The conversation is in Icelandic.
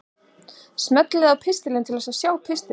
Smellið á Pistlar til að sjá pistilinn.